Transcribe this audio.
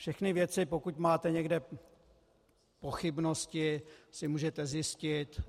Všechny věci, pokud máte někde pochybnosti, si můžete zjistit.